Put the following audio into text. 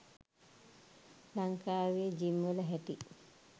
ලංකාවේ ජිම් වල හැටි